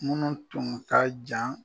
Minnu tun ka jan